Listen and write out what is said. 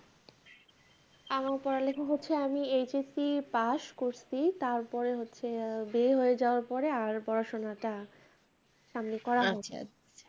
আমি পড়ালিখা হচ্ছে, আমি HSC pass করছি, তারপরে আহ হচ্ছে বিয়ে হয়ে যাওয়ার পরে আর পড়া-শোনাটা সামনে করা হয়নি